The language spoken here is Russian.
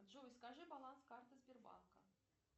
джой скажи баланс карты сбербанка